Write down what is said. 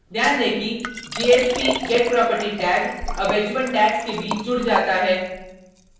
ध्यान tag कि jsp: getproperty tag अब tags के बीच जुड़ जाता है